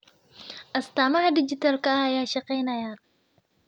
Astaamaha dhijitaalka ah ayaa shaqeynaya.